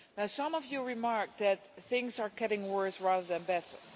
Some of you remarked that things are getting worse rather than better.